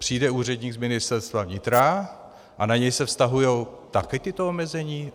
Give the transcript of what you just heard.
Přijde úředník z Ministerstva vnitra a na něj se vztahují taky tato omezení?